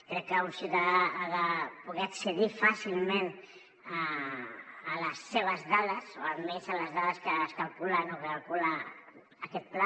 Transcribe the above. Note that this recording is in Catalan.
crec que un ciutadà ha de poder accedir fàcilment a les seves dades o almenys a les dades que es calculen o que calcula aquest pla